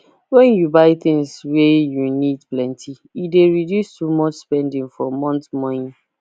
when you buy things wey you need plenty e dey reduce too much spending for month monye